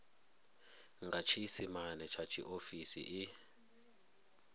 nga tshiisimane tsha tshiofisi i